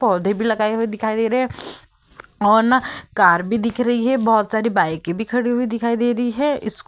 पौधे भी लगाए हुए दिखाई दे रहे है और ना कार भी दिख रही है। बहोत सारी बाइक भी खड़ी हुई दिखाई दे रही है। स्कू --